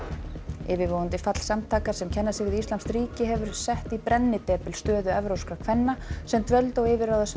yfirvofandi fall samtakanna sem kenna sig við íslamskt ríki hefur sett í brennidepil stöðu evrópskra kvenna sem dvöldu á yfirráðasvæði